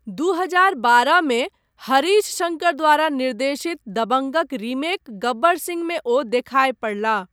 दू हजार बारह मे हरीश शङ्कर द्वारा निर्देशित दबंगक रीमेक गब्बर सिंहमे ओ देखाय पड़लाह।